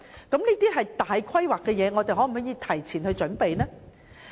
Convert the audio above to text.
這些都是重大的規劃，我們能否早作準備呢？